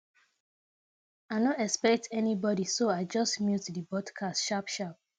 i no expect anybody so i just mute the podcast sharp sharp